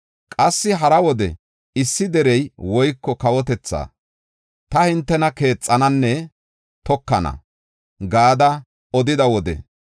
Qassi hara wode issi deriya woyko kawotethaa, ‘Ta hintena keexananne tokana’ gada odida wode,